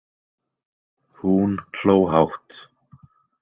Hún hló hátt.